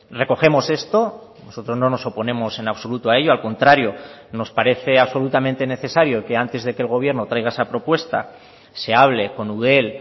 recogemos esto nosotros no nos oponemos en absoluto a ello al contrario nos parece absolutamente necesario que antes de que el gobierno traiga esa propuesta se hable con eudel